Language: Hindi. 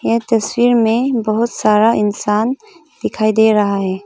ये तस्वीर मे बहुत सारा इंसान दिखाई दे रहा है।